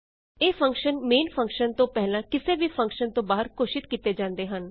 ਇਹ function main function ਤੋਂ ਪਹਿਲਾਂ ਕਿਸੇ ਵੀ ਫੰਕਸ਼ਨ ਤੋਂ ਬਾਹਰ ਘੋਸ਼ਿਤ ਕੀਤੇ ਜਾਂਦੇ ਹਨ